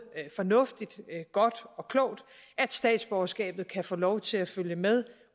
fornuftigt godt og klogt at statsborgerskabet kan få lov til at følge med